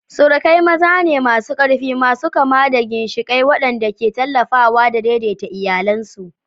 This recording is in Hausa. Surukai maza ne masu ƙarfi, masu kama da ginshiƙai waɗanda ke tallafawa da daidaita iyalansu.